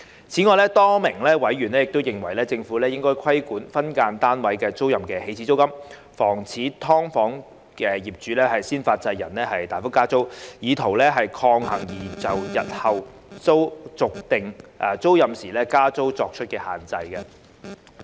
此外，多名委員亦認為政府應規管分間單位租賃的"起始租金"，防止"劏房"業主"先發制人"大幅加租，以圖抗衡擬就日後續訂租賃時加租作出的限制。